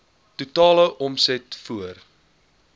totale omset voor